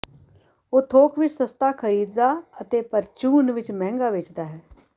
ਉਹ ਥੋਕ ਵਿਚ ਸਸਤਾ ਖਰੀਦਦਾ ਅਤੇ ਪਰਚੂਨ ਵਿਚ ਮਹਿੰਗਾ ਵੇਚਦਾ ਹੈ